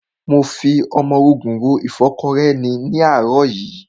Mo fi ọmọrogùn ro ìfọ́kọrẹ́ ni ní àárọ̀ yìí.